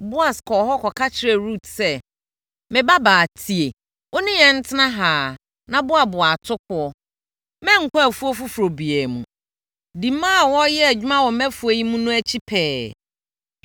Boas kɔɔ hɔ kɔka kyerɛɛ Rut sɛ, “Me babaa tie. Wo ne yɛn ntena ha ara na boaboa atokoɔ; mma nkɔ afuo foforɔ biara mu. Di mmaa a wɔreyɛ adwuma wɔ mʼafuo yi mu no akyi pɛɛ.